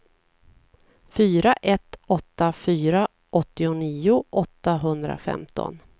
fyra ett åtta fyra åttionio åttahundrafemton